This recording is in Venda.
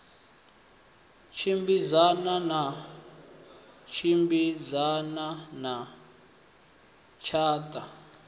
tshimbidzana na tshimbidzana na tshatha